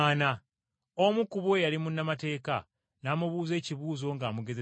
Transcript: Omu ku bo eyali munnamateeka n’amubuuza ekibuuzo ng’amugezesa nti,